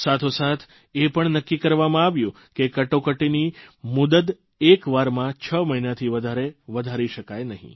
સાથોસાથ એ પણ નક્કી કરવામાં આવ્યું કે કટોકટીની મુદ્ત એક વારમાં છ મહિનાથી વધારે વધારી શકાય નહીં